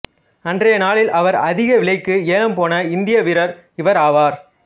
அன்றைய நாளில் அவர் அதிக விலைக்கு ஏலம் போன இந்திய வீரர் இவர் ஆவார்